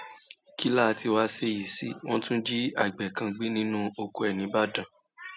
kí láá tí wàá ṣèyí sí wọn tún jí àgbẹ kan gbé nínú oko ẹ nìbàdàn